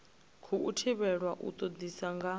khou thivhelwa u todisisa nga